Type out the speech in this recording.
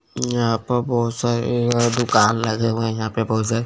यहां पर बहुत सारे दुकान लगे हुए है यहां पे बहुत सारे।